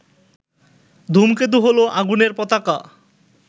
ধূমকেতু হলো আগুনের পতাকা